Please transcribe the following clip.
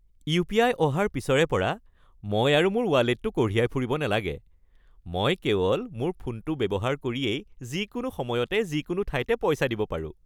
UPI. অহাৰ পিছৰে পৰা মই আৰু মোৰ ৱালেটটো কঢ়িয়াই ফুৰিব নালাগে। মই কেৱল মোৰ ফোনটো ব্যৱহাৰ কৰিয়েই যিকোনো সময়তে যিকোনো ঠাইতে পইচা দিব পাৰোঁ।